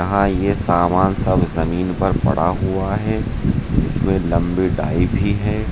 यहाँ ये सामान सब जमीन पर पड़ा हुआ है इसमें लंबी डाई भी है।